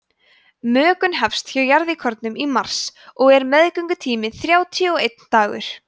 mökun hefst hjá jarðíkornum í mars og er meðgöngutíminn þrjátíu og einn dagur